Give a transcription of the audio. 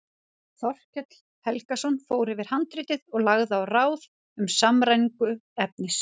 Þorkell Helgason fór yfir handritið og lagði á ráð um samræmingu efnis.